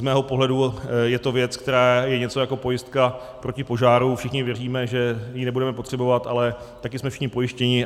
Z mého pohledu je to věc, která je něco jako pojistka proti požáru: všichni věříme, že ji nebudeme potřebovat, ale taky jsme všichni pojištěni.